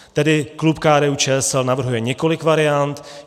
Tedy klub KDU-ČSL navrhuje několik variant.